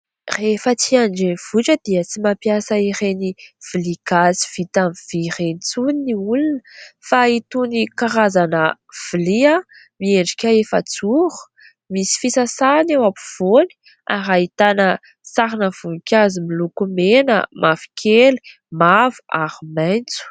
Rehefa aty an-drenivohitra dia tsy mampiasa ireny vilia gasy vita amin'ny vy ireny intsony ny olona fa itony karazana vilia miendrika efajoro misy fisasahany eo ampovoany ary ahitana sarina voninkazo miloko mena, mavokely, mavo ary maitso.